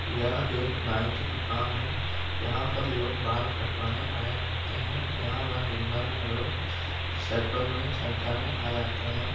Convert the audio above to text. यह एक नाई की दुकान है यहाँ पर लोग बाल कटवाने आया करते है यहाँ पर दिन भर मे लोग सेकड़ो गणी संख्या मे आ जाते है।